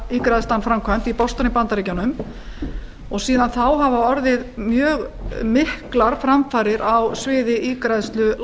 líffæraígræðslan framkvæmd í boston í bandaríkjunum og síðan þá hafa orðið mjög miklar framfarir á sviði